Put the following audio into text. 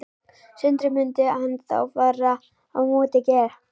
Sindri: Myndi hann þá fara upp á móti Geir?